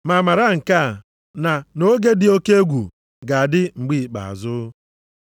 Ma mara nke a, na nʼoge dị oke egwu ga-adị mgbe ikpeazụ.